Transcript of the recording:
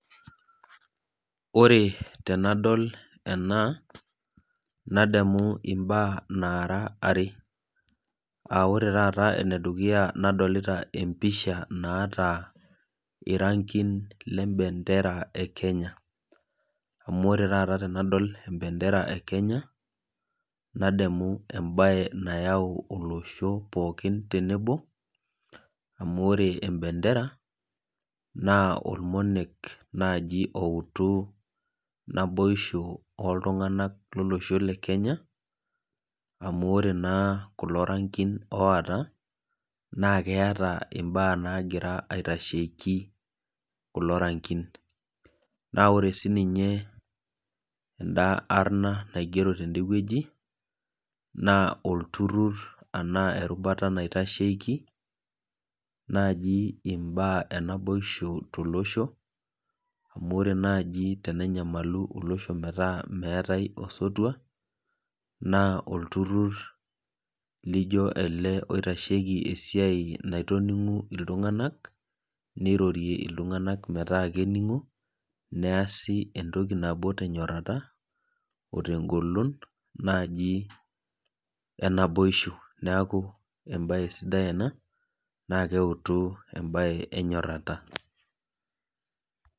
Ore tenadol ena nadamu mbaa nara are aa ore enedukuya nadolita empisha naata irangin lembendera ekenya amu ore taata tenadol embendera elenya nayau olosho pooki tenebo amu ore embendera na ormonek nai oouti naboisho oltunganak lolosho le Kenya amu ore na kulo rangin oota na keeta mbaa nagira aitasheki kulo larinkin na ore sininye emda arna naigero tenewueji na olturur ashu erubata naitashieki naji imbaa enaboisho tolosho amu ore nai tenenyamalu olosho metaa metai osotua naa olturur lijo ele oitashiei esiaia naitoningu ltunganak nirorie ltunganak metaa neasi entoki nabo tenyorara otengolon naji enaboisha neaku embae sidai ena na keutu embae enyoraata